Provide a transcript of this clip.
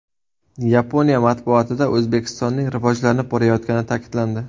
Yaponiya matbuotida O‘zbekistonning rivojlanib borayotgani ta’kidlandi.